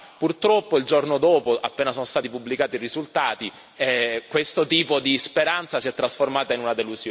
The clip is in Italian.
Purtroppo, il giorno dopo, appena sono stati pubblicati i risultati, questo tipo di speranza si è trasformata in una delusione.